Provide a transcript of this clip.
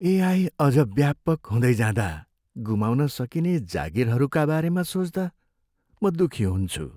AI अझ व्यापक हुँदै जाँदा गुमाउन सकिने जागिरहरूका बारेमा सोच्दा म दुखी हुन्छु।